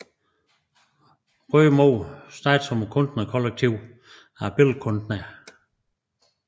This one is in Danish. Røde Mor startede som et kunstnerkollektiv af billedkunstnere